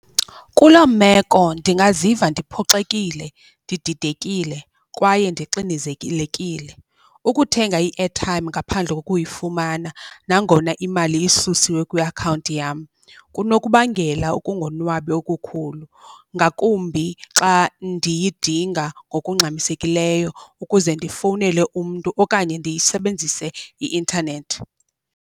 Kuloo meko ndingaziva ndiphoxekile ndididekile kwaye ndixinizekilekile. Ukuthenga i-airtime ngaphandle kokuyifumana nangona imali isusiwe kwiakhawunti yam kunokubangela ukungonwabi okukhulu, ngakumbi xa ndiyidinga ngokungxamisekileyo ukuze ndifowunele umntu okanye ndisebenzise i-intanethi.